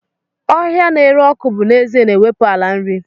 Bush na-ere ọkụ bụ n'ezie na-ewepụ ala nri.